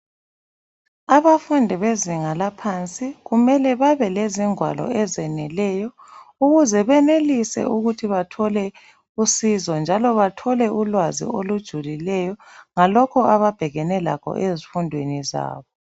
Abafundi bezinga laphansi kumele babelezingwalo ezeneleyo ukuze benelise ukuthi bathole usizo njalo bathole ulwazi olujulileyo ngalokho ababhekane lakho ezifundweni zabo.